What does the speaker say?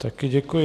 Taky děkuji.